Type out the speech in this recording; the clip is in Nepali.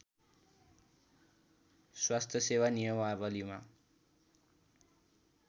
स्वास्थ्य सेवा नियमावलिमा